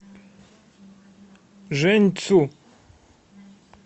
жэньцю